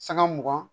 Sanga mugan